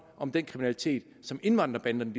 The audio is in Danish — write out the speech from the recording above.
om den kriminalitet som indvandrerbanderne